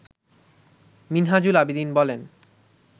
মিনহাজুল আবেদীন বলেন